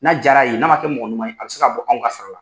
N'a jar'a ye n'a man kɛ mɔgɔ ɲuman ye a bɛ se ka bɔ anw ka sara la.